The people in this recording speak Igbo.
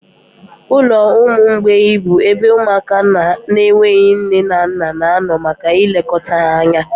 Ụlọ ụmụ mgbei bụ ebe ụmụaka na-enweghị nne na nna na-anọ maka ilekọta ha anya.